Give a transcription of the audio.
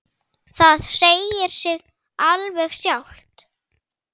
Það segir sig alveg sjálft.